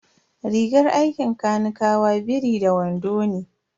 Rigar aikin kanikawa biri da wando ne.